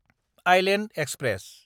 Iceland express